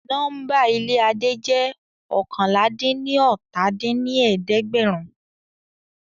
Nọ́mbà ilé Adé jẹ́ oókànlá-dín-ní-ọ́ta dín ní ẹ̀ẹ́dẹ́gbẹ́rún